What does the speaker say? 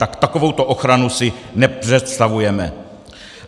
Tak takovouto ochranu si nepředstavujeme.